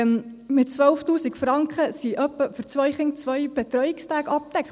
Mit 12’000 Franken sind etwa für zwei Kinder zwei Betreuungstage abgedeckt.